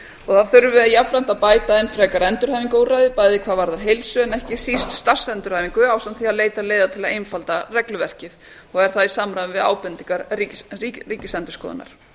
og að þurfi jafnframt að bæta enn frekar endurhæfingarúrræði bæði hvað varðar heilsu en ekki síst starfsendurhæfingu ásamt því að leita leiða til að einfalda regluverkið er það í samræmi við ábendingar ríkisendurskoðunar